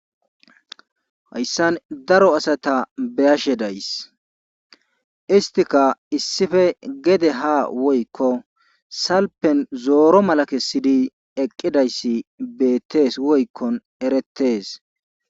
Hayssan daroasati beyashe days isttika issife gede haa woykkon salfen zooro mala kesssidi eqqidayssi beettees wotkkon erettees.